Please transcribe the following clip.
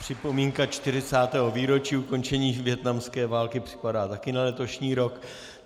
Připomínka 40. výročí ukončení vietnamské války připadá také na letošní rok.